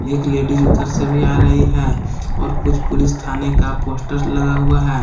एक लेडीज उधर से भी आ रही है और कुछ पुलिस थाने का पोस्टर लगा हुआ है।